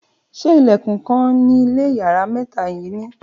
ṣe ìlèkùn kan ni ile iyare mẹta yi ni